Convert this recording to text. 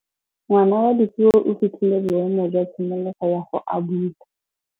Ngwana wa Dipuo o fitlhile boêmô jwa tshimologô ya go abula.